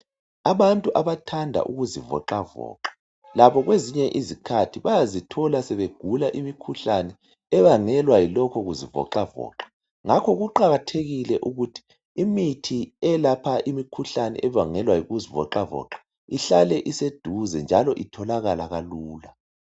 Abantu abathanda kuzivoxavoxa labo kwezinye izikhathi bayazithola sebegula imikhuhlane ebangelwa yilokho kuzivoxavoxa ngakho kuqakathekile ukuthi imithi elapha imikhuhlane ebangelwa yikuzivoxavoxa ihlale iseduze njalo itholakala lula.